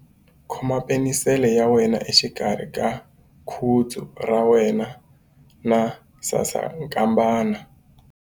Khoma penisele ya wena exikarhi ka khudzu ra wena na sasankambana.